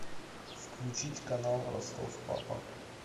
включить канал ростов папа